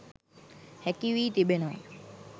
හැකි වී තිබෙනවා.